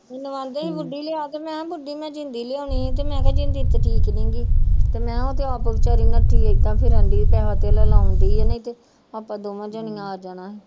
ਮੈਨੂੰ ਆਂਦੇ ਸੀ ਲਿਆ ਤੇ ਮੈਂ ਕਿਹਾ ਮੈਂ ਜਿੰਦੀ ਲਿਆਉਣੀ ਸੀ ਤੇ ਮੈਂ ਕਿਹਾ ਜਿੰਦੀ ਤੇ ਠੀਕ ਨੀ ਗੀ ਤੇ ਮੈਂ ਕਿਹਾ ਉਹ ਤੇ ਆਪ ਬੇਚਾਰੀ ਨੱਠੀ ਏਦਾਂ ਰਹਿੰਦੀ ਪੈਸਾ ਧੇਲਾ ਲਾਉਂਦੀ ਹੈ ਨਹੀਂ ਤੇ ਆਪਾਂ ਦੋਵੇਂ ਜਾਣੀਆਂ ਆ ਜਾਣਾ।